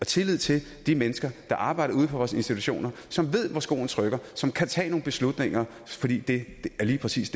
tillid til de mennesker der arbejder ude på vores institutioner som ved hvor skoen trykker og som kan tage nogle beslutninger fordi det lige præcis